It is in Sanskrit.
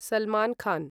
सलमान् खान्